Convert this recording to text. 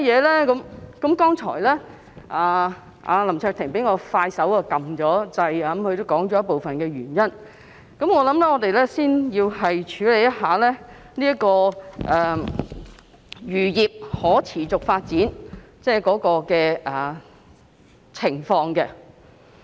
林卓廷議員比我更快按下"要求發言"按鈕，他剛才已說出部分原因，我想我們要先了解漁業可持續發展的情況。